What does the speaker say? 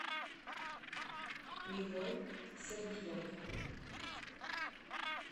мигрой сергиенко